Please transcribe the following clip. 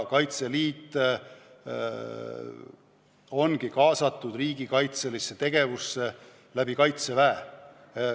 Kaitseliit ongi kaasatud riigikaitselisse tegevusse Kaitseväe kaudu.